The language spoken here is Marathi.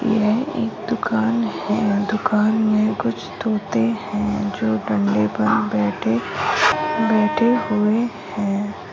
यह एक दुकान है दुकान मे कुछ तोते है जो गन्ने पर बैठे बैठे हुए है।